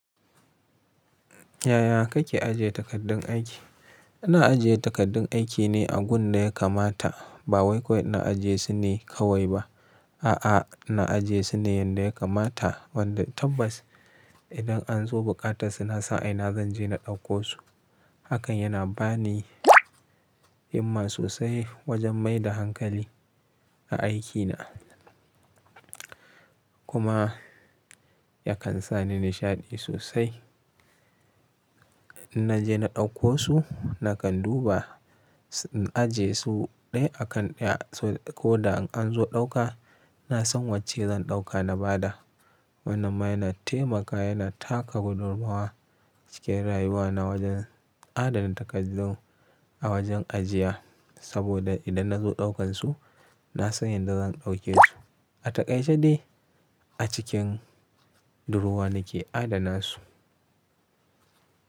Yaya kake ajiye takardun aiki? Na ajiye takardun aiki ne a gun da ya kamata. Ba wai kawai ina ajiye su ne kawai ba. A'a, na ajiye su ne yanda ya kamata wanda tabbas idan an zo buƙatar su na san a ina zan je na ɗauko su. Hakan yana bani himma sosai wajen mai da hankali a aikina. Kuma ya kan sa ni nishaɗi sosai. In naje na ɗauko su, na kan duba, na ajiye su ɗaya a kan ɗaya ko da an zo ɗauka, na san wacce zan ɗauka na bada. Wannan ma yana taimaka yana taka gudummuwa cikin rayuwana wajen adana takardu a wajen ajiya. Saboda idan na zo ɗaukan su, na san yadda zan ɗauke su a takaice dai a cikin durowa nake adana su.